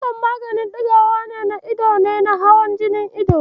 Misof maganin ɗigawar ido ne na hawan jinin ido.